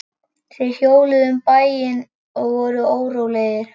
Þeir hjóluðu um bæinn og voru órólegir.